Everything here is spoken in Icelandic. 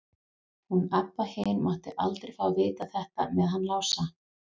Hún Abba hin mátti aldrei fá að vita þetta með hann Lása.